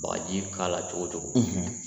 Bagaji k'a la cogo o cogo,